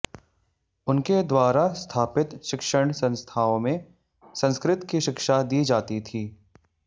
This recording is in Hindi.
उनके द्वारा स्थापित शिक्षण संस्थाओं में संस्कृत की शिक्षा दी जाती थी